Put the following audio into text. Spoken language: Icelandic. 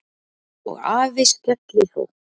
Og afi skellihló.